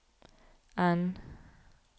N